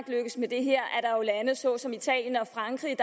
lykkes med det her at såsom italien og frankrig